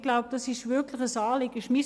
Ich glaube, das ist wirklich ein Anliegen.